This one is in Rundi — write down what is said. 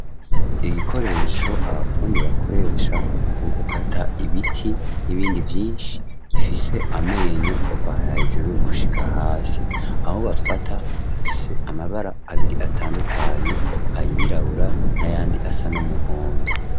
Igikoresho abafundi bakoresha mu gukata ibiti n'ibindi vyinshi gifise amenyo kuvana ijuru gushika hasi aho bafata afise amabara abiri atandukanye ayirabura n'ayandi asa n'umuhondo.